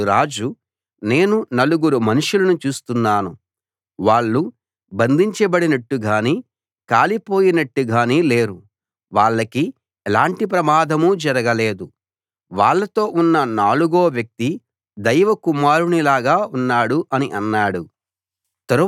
అప్పుడు రాజు నేను నలుగురు మనుషులను చూస్తున్నాను వాళ్ళు బంధించబడినట్టుగానీ కాలిపోయినట్టు గానీ లేరు వాళ్లకి ఎలాంటి ప్రమాదమూ జరగలేదు వాళ్ళతో ఉన్న నాలుగో వ్యక్తి దైవ కుమారుని లాగా ఉన్నాడు అని అన్నాడు